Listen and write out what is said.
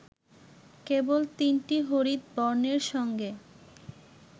কেবল তিনটি হরিৎ বর্ণের সঙ্গে